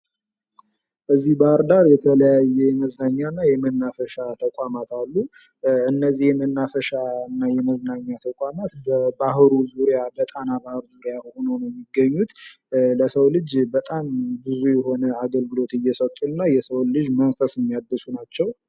እዚህ ባህርዳር የተለያየ የመዝናኛ እና የመናፈሻ ተቋማት አሉ። እነዚህን የመዝናኛ እና የመናፈሻ በባህሩ ዙሪያ በጣና ባህር ዙሪያ ሆነው ነው የሚገኙት ለሰው ልጅ በጣም ብዙ የሆነ አገልግሎት የሚሰጡ እና የሰውን ልጅ መንፈስ የሚያድሱ ናቸው።